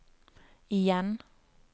igjen